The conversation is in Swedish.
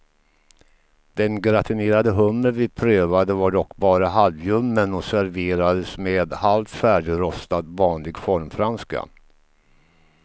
Den gratinerade hummer vi prövade var dock bara halvljummen och serverades med halvt färdigrostad vanlig formfranska.